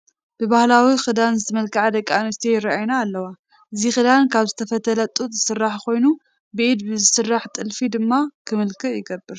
ብባህላዊ ክዳን ዝመልክዓ ደቂ ኣንስትዮ ይርአያ ኣለዋ፡፡ እዚ ክዳን ካብ ዝተፈትለ ጡጥ ዝስራሕ ኮይኑ ብኢድ ብዝስራሕ ጥልፊ ድማ ክምልክዕ ይግበር፡፡